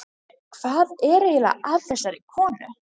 Hvað var eiginlega að þessari konu?